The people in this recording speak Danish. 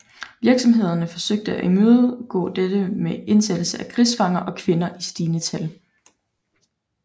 Virksomhederne forsøgte at imødegå dette med indsættelse af krigsfanger og kvinder i stigende tal